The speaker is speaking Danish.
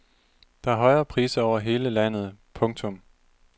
Der er højere priser over hele landet. punktum